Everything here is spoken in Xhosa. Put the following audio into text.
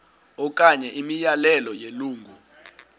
okanye imiyalelo yelungu